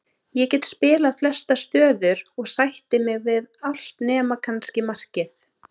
Ég get spilað flestar stöður og sætti mig við allt nema kannski markið.